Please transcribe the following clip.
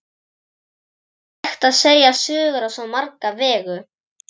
Það er hægt að segja sögur á svo marga vegu.